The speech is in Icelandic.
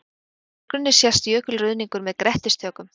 Í forgrunni sést jökulruðningur með grettistökum.